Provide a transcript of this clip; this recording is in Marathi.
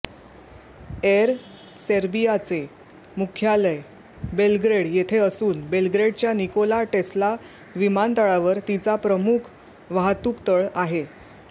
एअर सर्बियाचे मुख्यालय बेलग्रेड येथे असून बेलग्रेडच्या निकोला टेस्ला विमानतळावर तिचा प्रमुख वाहतूकतळ आहे